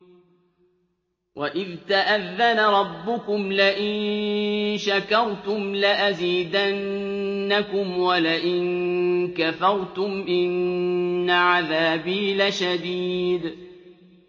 وَإِذْ تَأَذَّنَ رَبُّكُمْ لَئِن شَكَرْتُمْ لَأَزِيدَنَّكُمْ ۖ وَلَئِن كَفَرْتُمْ إِنَّ عَذَابِي لَشَدِيدٌ